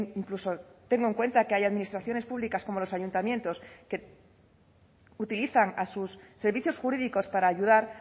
incluso tenga en cuenta que hay administraciones públicas como los ayuntamientos que utilizan a sus servicios jurídicos para ayudar